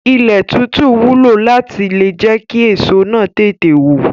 Ilẹ̀ títú wúlò láti le jẹ́ kí èso náà tètè wù.